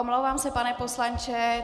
Omlouvám se, pane poslanče.